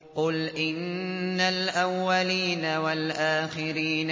قُلْ إِنَّ الْأَوَّلِينَ وَالْآخِرِينَ